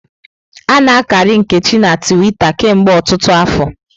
A-na akari Nkechi na Twita kemgbe ọtụtụ afọ.